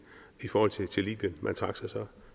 i forhold til libyen man trak sig så